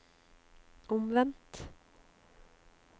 omvendt